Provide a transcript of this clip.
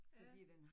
Ja